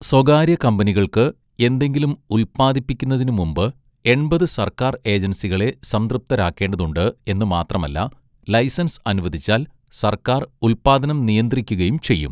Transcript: സ്വകാര്യ കമ്പനികൾക്ക് എന്തെങ്കിലും ഉല്പ്പാദിപ്പിക്കുന്നതിനു മുമ്പ് എണ്പത് സർക്കാർ ഏജൻസികളെ സംതൃപ്തരാക്കേണ്ടതുണ്ട് എന്നു മാത്രമല്ല ലൈസൻസ് അനുവദിച്ചാൽ സർക്കാർ ഉൽപ്പാദനം നിയന്ത്രിക്കുകയും ചെയ്യും.